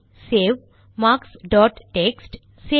file save mark start text